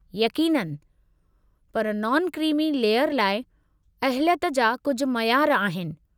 यक़ीननि! पर non creamy layer लाइ अहलियत जा कुझु मयारु आहिनि।